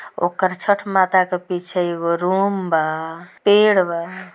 ओकर छठ माता के पीछे एगो रूम बा पेड़ बा।